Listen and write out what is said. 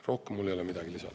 Rohkem mul ei ole midagi lisada.